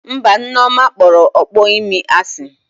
Mba, Nneoma kpọrọ ọkpọ imi asị